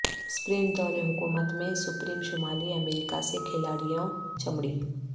sprint دور حکومت میں سپریم شمالی امریکہ سے کھلاڑیوں چمڑی